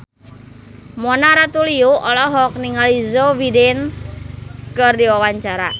Mona Ratuliu olohok ningali Joe Biden keur diwawancara